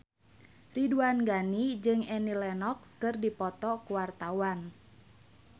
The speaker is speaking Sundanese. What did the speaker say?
Ridwan Ghani jeung Annie Lenox keur dipoto ku wartawan